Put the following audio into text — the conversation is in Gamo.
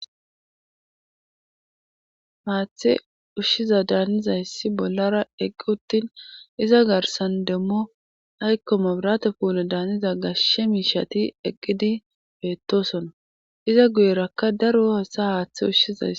maathe ushshiza daanniza hyssi bollara eqqi uttin iza garsan demmo aykko mobirate puulo daaniza gashe miishati eqqidi beettosona iza guyerakka daro hosa haaththe ushshizays